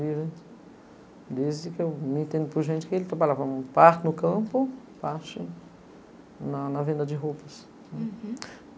livre. Desde que eu me entendo por gente que ele trabalhava parte no campo, parte na na venda de roupas. Uhum